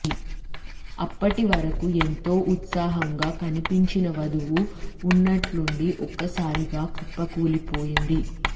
అప్పటి వరకు ఎంతో ఉత్సాహంగా కనిపించిన వధువు ఉన్నట్టుండి ఒక్కసారిగా కుప్పకూలిపోయింది